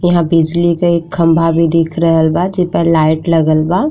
यहाँँ बिजली के एक खम्बा भी दिख रहल बा जेपे लाइट लगल बा।